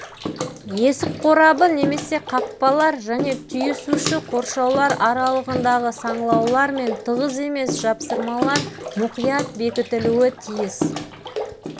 есік қорабы немесе қақпалар және түйісуші қоршаулар аралығындағы саңылаулар мен тығыз емес жапсырмалар мұқият бекітілуі тиіс